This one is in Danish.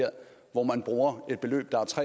år